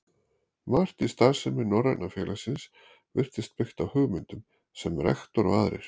Margt í starfsemi Norræna félagsins virtist byggt á hugmyndum, sem rektor og aðrir